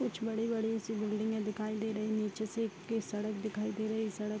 कुछ बड़ी-बड़ी सी बिल्डिंगें दिखाई दे रहीं हैं। निचे से एक के सड़क दिखाई दे रही है। सड़क --